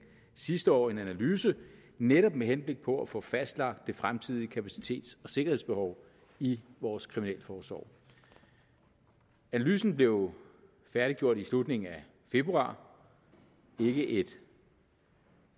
sidste år en analyse netop med henblik på at få fastlagt det fremtidige kapacitets og sikkerhedsbehov i vores kriminalforsorg analysen blev færdiggjort i slutningen af februar ikke et